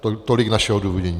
Tolik naše odůvodnění.